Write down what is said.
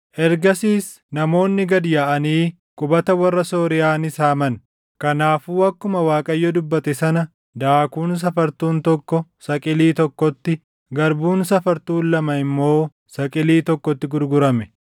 Ergasiis namoonni gad yaaʼanii qubata warra Sooriyaa ni saaman. Kanaafuu akkuma Waaqayyo dubbate sana daakuun safartuun tokko saqilii tokkotti, garbuun safartuun lama immoo saqilii tokkotti gurgurame.